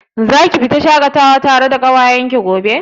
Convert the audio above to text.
Zaku fita shaƙatawa da ƙawayen ki gobe?